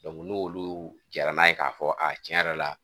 n'olu jɛra n'a ye k'a fɔ a tiɲɛ yɛrɛ la